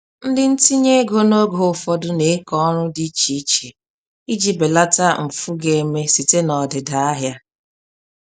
Ndị ntinye ego n'oge ụfọdụ n'eke ọrụ dị iche iche iji belata mfu ga-eme site n'ọdịda ahịa.